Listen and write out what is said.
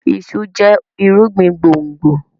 iṣu jẹ irúgbìn gbòngbò.